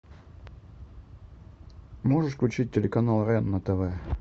можешь включить телеканал рен на тв